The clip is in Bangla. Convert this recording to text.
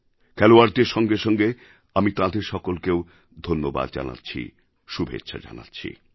খেলোয়াড়দের সঙ্গে সঙ্গে আমি তাঁদের সকলকেও ধন্যবাদ জানাচ্ছি শুভেচ্ছা জানাচ্ছি